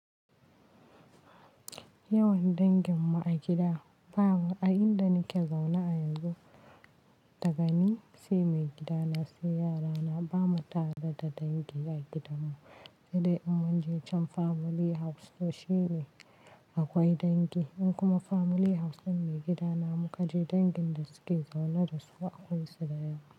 Yawan dangin mu a gida babu, a inda nike zaune a yanzu dagami sai maigida na sai yarana bamu tada da dangi a gidan mu, idan munje can family house sosai akwai dangi in kuma family house in maigida namu kaje dangin da suke zaune dasu akwai su da yawa.